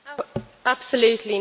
Absolutely not